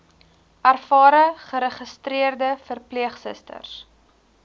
ervare geregistreerde verpleegsusters